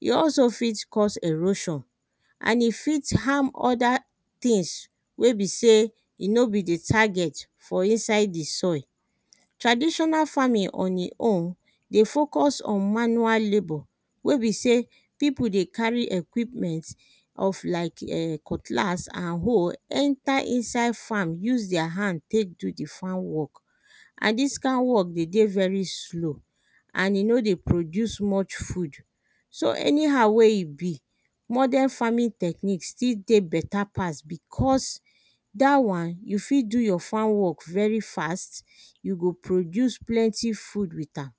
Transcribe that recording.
e also fit cause erosion and e fit harm other things wey be sey e no be di target for inside di soil. Traditional farming on e own dey focus on manual labour wey be sey pipo dey carry equipment of like[um]cutlass and hoe enter inside farm use deir hand tek do di farm work and dis kind work dey dey very slow and e no dey produce much food so anyhow wey e be modern farming technique e still dey better pass becos dat one you fit do your farm work very fast and you go produce plenty food with am.